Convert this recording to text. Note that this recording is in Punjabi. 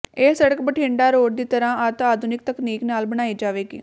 ਇਹ ਸੜ੍ਹਕ ਬਠਿੰਡਾ ਰੋਡ ਦੀ ਤਰ੍ਹਾਂ ਅਤਿ ਆਧੁਨਿਕ ਤਕਨੀਕ ਨਾਲ ਬਨਾਈ ਜਾਵੇਗੀ